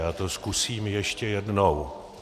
Já to zkusím ještě jednou.